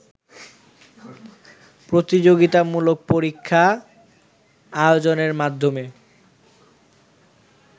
প্রতিযোগিতামূলক পরীক্ষা আয়োজনের মাধ্যমে